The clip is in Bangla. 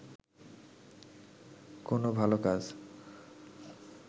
কোন ভাল কাজ